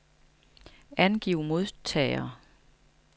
Angiv modtagere.